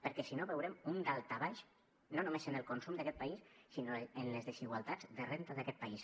perquè si no veurem un daltabaix no només en el consum d’aquest país sinó en les desigualtats de renda d’aquest país